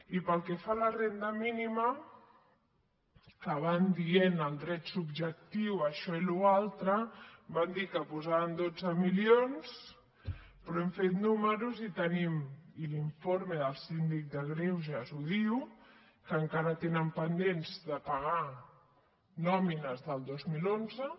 i pel que fa a la renda mínima que van dient el dret subjectiu això i l’altre van dir que posaven dotze milions però hem fet números i tenim i l’informe del síndic de greuges ho diu que encara tenen pendents de pagar nòmines del dos mil onze